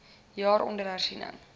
jaar onder hersiening